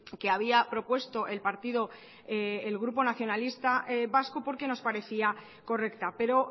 que había propuesto el partido el grupo nacionalista vasco porque nos parecía correcta pero